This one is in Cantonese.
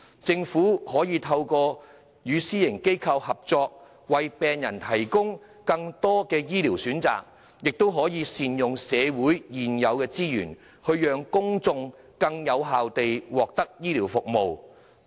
政府可透過與私營醫療機構合作，為病人提供更多的醫療服務選擇，同時善用社會現有資源，令公眾更有效地獲得醫療服務。